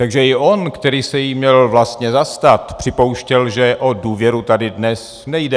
Takže i on, který se jí měl vlastně zastat, připouštěl, že o důvěru tady dnes nejde.